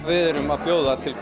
við erum að bjóða til